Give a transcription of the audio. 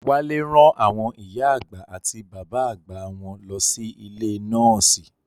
Wálé rán àwọn ìyá àgbà àti bàbá àgbà wọn lọ sí ilé nọ́ọ̀sì